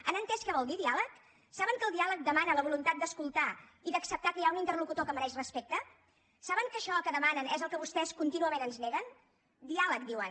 han entès què vol dir diàleg saben que el diàleg demana la voluntat d’escoltar i d’acceptar que hi ha un interlocutor que mereix respecte saben que això que demanen és el que vostès contínuament ens neguen diàleg diuen